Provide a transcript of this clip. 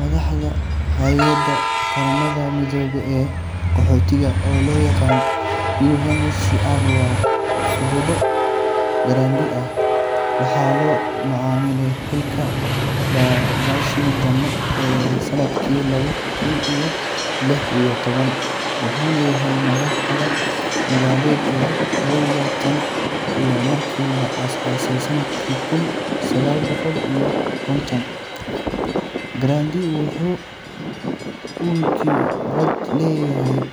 Madaxda hay’adda Qaramada Midoobay ee Qaxootiga, oo loo yaqaan UNHCR, waa Filippo Grandi. Waxaa loo magacaabay xilkan bishii Janaayo ee sannadkii laba kun iyo lix iyo toban, wuxuuna yahay madaxa sagaalaad ee hay’adda tan iyo markii la aasaasay sannadkii kun sagaal boqol iyo konton. Grandi wuxuu u dhashay dalka Talyaani wuxuuna leeyahay khibrad dheer